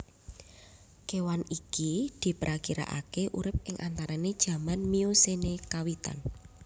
Kewan iki diprakirakake urip ing antarane jaman Miocene kawitan